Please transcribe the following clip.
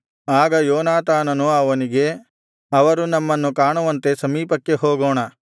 ಆಗ ಯೋನಾತಾನನು ಅವನಿಗೆ ಅವರು ನಮ್ಮನ್ನು ಕಾಣುವಂತೆ ಸಮೀಪಕ್ಕೆ ಹೋಗೋಣ